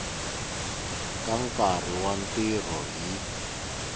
ka nkarhi wa ntirho hi